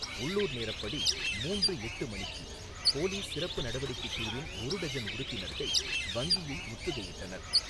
உள்ளூர் நேரப்படி மூன்று எட்டு மணிக்கு போலீஸ் சிறப்பு நடவடிக்கைக் குழுவின் ஒரு டஜன் உறுப்பினர்கள் வங்கியை முற்றுகையிட்டனர்.